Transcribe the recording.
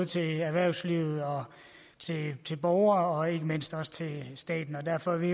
til erhvervslivet og til borgere og ikke mindst til staten og derfor er vi